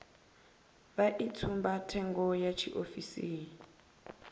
vha i tsumbathengo ya tshiofisi